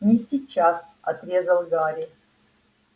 не сейчас отрезал гарри